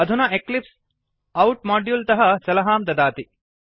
अधुना eclipse out module तः सलहां ददाति